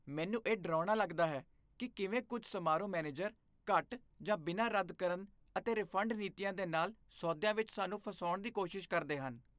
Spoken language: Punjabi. ਮੈਨੂੰ ਇਹ ਡਰਾਉਣਾ ਲੱਗਦਾ ਹੈ ਕਿ ਕਿਵੇਂ ਕੁਝ ਸਮਾਰੋਹ ਮੈਨੇਜਰ ਘੱਟ ਜਾਂ ਬਿਨਾਂ ਰੱਦ ਕਰਨ ਅਤੇ ਰਿਫੰਡ ਨੀਤੀਆਂ ਦੇ ਨਾਲ ਸੌਦਿਆਂ ਵਿੱਚ ਸਾਨੂੰ ਫਸਾਉਣ ਦੀ ਕੋਸ਼ਿਸ਼ ਕਰਦੇ ਹਨ।